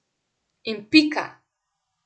In pika!